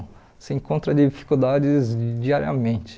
Você encontra dificuldades diariamente.